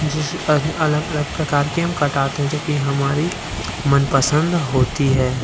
जैसे कि अलग-अलग प्रकार के हम कटाते हैं जो कि हमारे मनपसंद होती है।